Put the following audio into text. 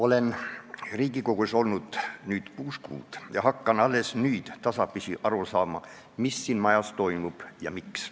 Olen Riigikogus olnud praeguseks kuus kuud ning hakkan alles nüüd tasapisi aru saama, mis siin majas toimub ja miks.